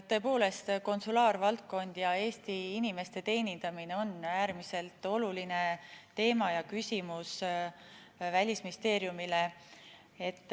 Tõepoolest, konsulaarvaldkond ja Eesti inimeste teenindamine on äärmiselt oluline teema ja küsimus Välisministeeriumile.